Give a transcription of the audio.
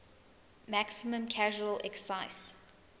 maximum casual excise